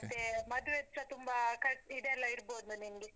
ಮತ್ತೆ ಮದ್ವೆದ್ಸ ತುಂಬಾ ಖರ್ಚು ಇದ್ ಎಲ್ಲ ಇಡ್ಬೋದು ನಿಮ್ಗೆ.